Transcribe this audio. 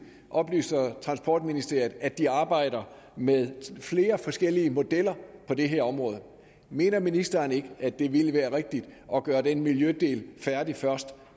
oplyser transportministeriet at de arbejder med flere forskellige modeller på det her område mener ministeren ikke at det ville være rigtigt at gøre den miljødel færdig først